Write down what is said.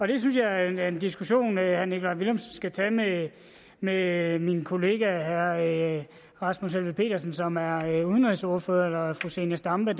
det synes jeg er en diskussion som herre nikolaj villumsen skal tage med med min kollega herre rasmus helveg petersen som er udenrigsordfører eller fru zenia stampe